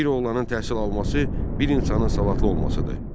Bir oğlanın təhsil alması bir insanın savadlı olmasıdır.